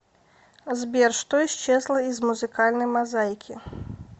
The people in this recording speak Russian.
сбер что исчезло из музыкальной мозаики